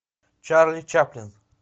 чарли чаплин